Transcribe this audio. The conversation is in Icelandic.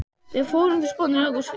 Við fórum til Spánar í ágúst í fyrra.